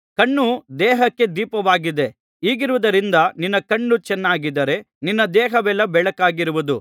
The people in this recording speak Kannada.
ಕಣ್ಣು ದೇಹಕ್ಕೆ ದೀಪವಾಗಿದೆ ಹೀಗಿರುವುದರಿಂದ ನಿನ್ನ ಕಣ್ಣು ಚೆನ್ನಾಗಿದ್ದರೆ ನಿನ್ನ ದೇಹವೆಲ್ಲಾ ಬೆಳಕಾಗಿರುವುದು